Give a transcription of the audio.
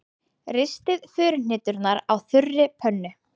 Ristið furuhneturnar á þurri pönnu.